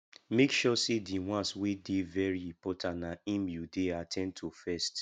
mek sure sey di ones wey dey very important na im yu dey at ten d to first